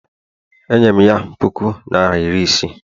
Enyere m ya puku naịra iri isii